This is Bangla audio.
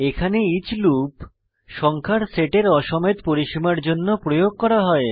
এখানে ইচ লুপ সংখ্যার সেটের অ সমেত পরিসীমার জন্য প্রয়োগ করা হয়